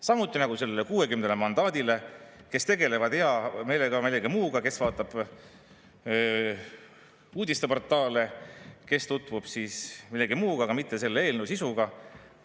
Samuti nagu sellele 60 mandaadile, kes tegelevad hea meelega millegi muuga: kes vaatab uudisteportaale, kes tutvub millegi muuga, aga mitte selle eelnõu sisuga.